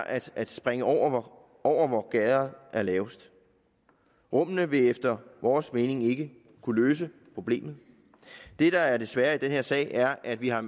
at at springe over over hvor gærdet er lavest rummene vil efter vores mening ikke kunne løse problemet det der er det svære i den her sag er at vi har